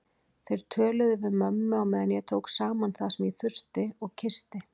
Þeir töluðu við mömmu á meðan ég tók saman það sem ég þurfti og kyssti